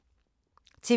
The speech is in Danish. TV 2